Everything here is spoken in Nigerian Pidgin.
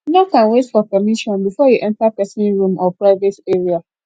knock and wait for permission before you enter person room or private area